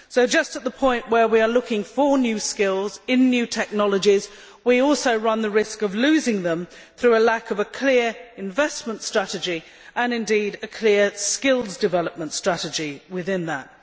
Just at the point we are looking for new skills in new technologies, we also run the risk of losing them through lack of a clear investment strategy and, indeed, a clear skills development strategy within that.